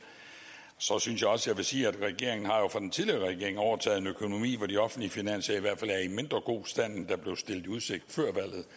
så synes jeg også jeg vil sige at regeringen jo fra den tidligere regering har overtaget en økonomi hvor de offentlige finanser i hvert fald er i mindre god stand end der blev stillet i udsigt før